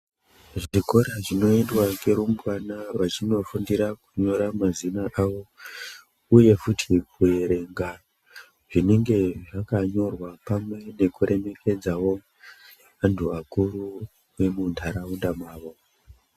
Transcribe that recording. Zvikora zvinoendwa nerumbwana vachinofundira kunyora mazina avo, uye futi kuerenga zvinonga zvakanyorwa pamwe nekuremekedzavo antu akuru vemuntaraunda mavo.